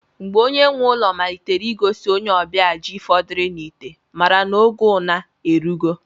Mgbe onye nwe ụlọ malitere ịgosi onye ọbịa ji fọdụrụ n'ite, mara n'oge una erugo.